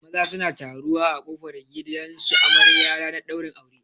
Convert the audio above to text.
Maza suna taruwa a kofar gidan su amarya ranar ɗaurin aure